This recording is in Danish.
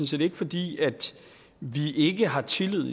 set ikke fordi vi i ikke har tillid